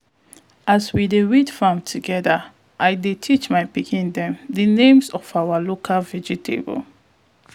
as we dey weed farm together i dey teach my pikin dem di names of our local vegetable